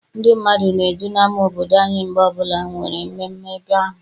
Ndị mmadụ na-eju n'ama obodo anyị mgbe ọbụla enwere mmemme ebe ahụ.